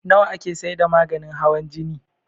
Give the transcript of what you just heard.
Nawa ake saida maganin hawan jini?